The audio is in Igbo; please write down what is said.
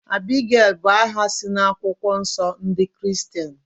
Abigail bú aha si na akwụkwọ nsọ ndị Kiristian